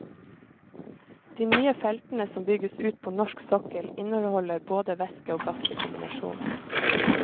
De nye feltene som bygges ut på norsk sokkel inneholder både væske og gass i kombinasjon.